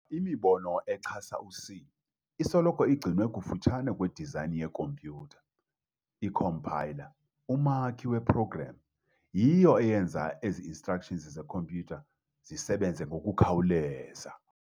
Imibono echasa u-C isoloko igcinwe kufutshane kwi-design ye-compyutha, i-compiler, umakhi we-program, yiyo eyenza ezi-nstructions ze-khompyutha zisebenze ngokukhawuleza.